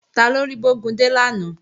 Taló rí Bógúndé lánàá?